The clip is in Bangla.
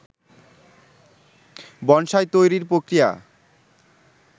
বনসাই তৈরির প্রক্রিয়া